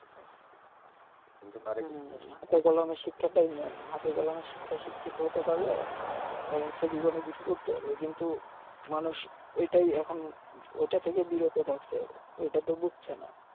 কিন্তু কারিগরি হুম হাতে কলমে শিক্ষাটাই হাতে কলমে শিক্ষিত হতে পারলে দেখা যাচ্ছে জীবনে কিছু করতে পারবে কিন্তু মানুষ ঐটাই এখন ঐটা থেকে বিরত থাকছে ঐটা তো বুজছে না